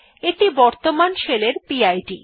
এইটি বর্তমান শেলের P I D